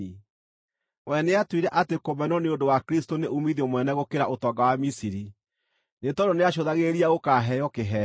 We nĩatuire atĩ kũmenwo nĩ ũndũ wa Kristũ nĩ uumithio mũnene gũkĩra ũtonga wa Misiri, nĩ tondũ nĩacũthagĩrĩria gũkaaheo kĩheo.